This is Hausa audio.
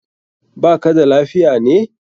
Ba ka da lafiya ne?